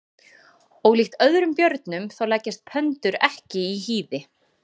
Ólíkt öðrum björnum þá leggjast pöndur ekki í hýði.